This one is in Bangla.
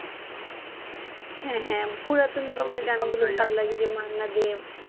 হ্যাঁ হ্যাঁ পুরাতন দিনের গানগুলা বেশ ভালো লাগে এইযে মান্না দে,